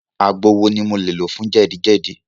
Àgbo wo ni mo lè lò fún jẹ́dì-jẹ́dì?